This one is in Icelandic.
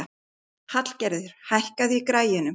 Hallgerður, hækkaðu í græjunum.